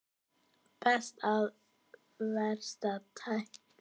Besta eða versta tækling ársins?